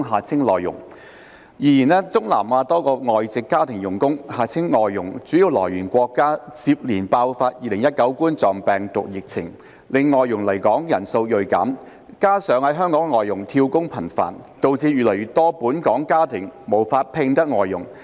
然而，東南亞多個外籍家庭傭工主要來源國家接連爆發2019冠狀病毒病疫情，令外傭來港人數銳減，加上在港外傭"跳工"頻繁，導致越來越多本港家庭無法聘得外傭。